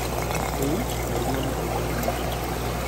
Rĩu mũrimũ no ũgwatanio